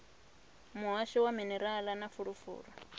muhasho wa minerala na fulufulu